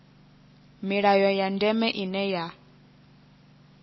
milayo ya ndeme ine ya